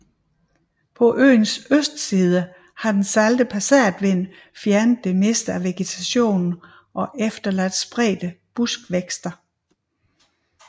På øens østside har den salte passatvind fjernet det meste af vegetationen og efterladt spredte buskvækster